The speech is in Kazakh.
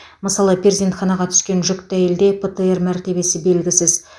мысалы перзентханаға түскен жүкті әйелде птр мәртебесі белгісіз